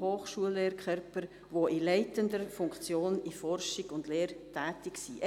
Hochschullehrkörpers, welche in leitender Funktion in Forschung und Lehre tätig sind.